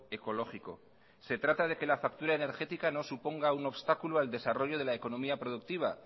ecológico se trata de que la factura energética no suponga un obstáculo al desarrollo de la economía productiva